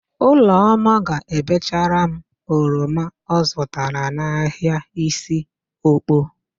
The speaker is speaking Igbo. Ụlọma ga-ebechara m oroma ọ zụtara n'ahịa Isiokpo.